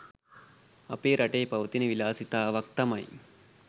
අපේ රටේ පවතින විලාසිතාවක් තමයි